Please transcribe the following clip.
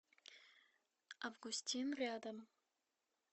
августин рядом